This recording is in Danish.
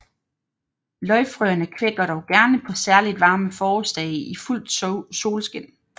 Løgfrøerne kvækker dog gerne på særligt varme forårsdage i fuldt solskin